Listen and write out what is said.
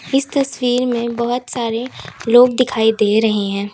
इस तस्वीर में बहोत सारे लोग दिखाई दे रहे हैं।